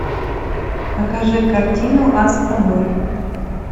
покажи картину астробой